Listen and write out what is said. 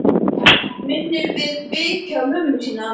Og minnir fyrir vikið á mömmu sína.